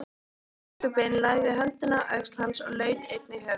Biskupinn lagði höndina á öxl hans og laut einnig höfði.